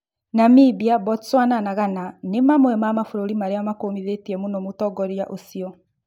Namimbia, Botswana na Ghana nĩ mamwe ma mabũrũri marĩa makũmithĩtie mũno mũtongoria ucĩo